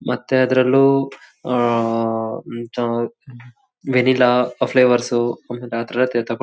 ಮತ್ತೆ ಅದ್ರಲ್ಲೂ ಆಹ್ಹ್ ಹ್ಮ್ ಅಹ್ ವೆನಿಲಾ ಫ್ಲೇವರ್ಸು ಯ್ಹ್ ರಾತ್ರೆ ರಾತ್ ಎತ್ತಾಕೊಂಡ್--